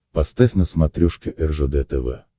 поставь на смотрешке ржд тв